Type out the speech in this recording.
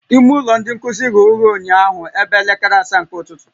Ime ụlọ ndị nkuzi ghe oghe ụnyaahụ ebe elekere asaa nke ụtụtụ